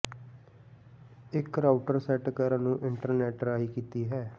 ਇੱਕ router set ਕਰਨ ਨੂੰ ਇੰਟਰਨੈੱਟ ਰਾਹੀ ਕੀਤੀ ਹੈ